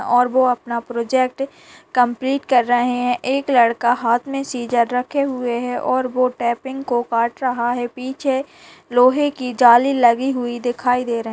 और वो अपना प्रोजेक्ट कंप्लीट कर रहे है एक लड़का हाथ में सीजर रखे हुए है और वो टाइपिंग को काट रहा है पीछे लोहे की जाली लगी हुई दिखाई दे रहे है।